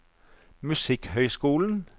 musikkhøyskolen